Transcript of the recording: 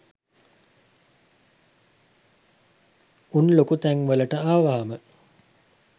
උන් ලොකු තැන් වලට ආවාම